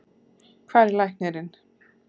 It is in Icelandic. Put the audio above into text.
Hvar er læknirinn?